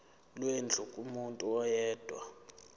lwendlu kumuntu oyedwa